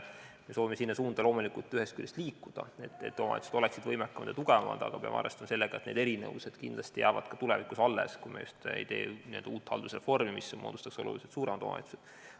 Ühest küljest me loomulikult soovime sinna suunda liikuda, et omavalitsused oleksid võimekamad ja tugevamad, aga me peame arvestama sellega, et need erinevused jäävad kindlasti ka tulevikus alles, kui me just ei tee n-ö uut haldusreformi, mille käigus moodustataks oluliselt suuremad omavalitsused.